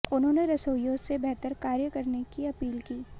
उन्होंने रसोइयों से बेहतर कार्य करने की अपील की